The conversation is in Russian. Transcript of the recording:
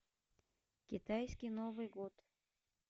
китайский новый год